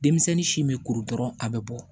Denmisɛnnin si bɛ kuru dɔrɔn a bɛ bɔ